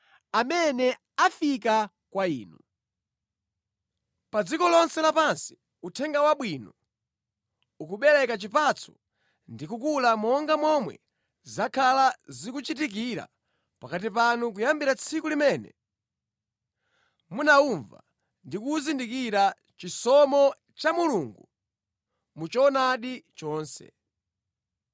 umene unafika kwa inu. Pa dziko lonse lapansi Uthenga Wabwino ukubereka chipatso ndi kukula monga momwe zakhala zikuchitikira pakati panu kuyambira tsiku limene munawumva ndi kuzindikira chisomo cha Mulungu mu choonadi chonse.